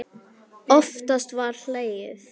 Oftast var hlegið.